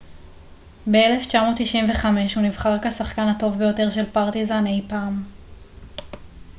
ב-1995 הוא נבחר כשחקן הטוב ביותר של פרטיזן אי פעם